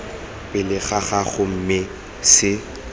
pele ga gago mme se